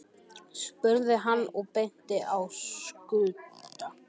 spurði hann og benti á Skunda.